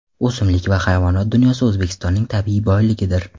O‘simlik va hayvonot dunyosi O‘zbekistonning tabiiy boyligidir.